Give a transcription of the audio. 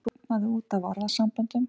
Það tútnaði út af orðasamböndum.